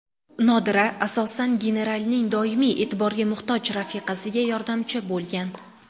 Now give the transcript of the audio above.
Nodira, asosan, genaralning doimiy e’tiborga muhtoj rafiqasiga yordamchi bo‘lgan.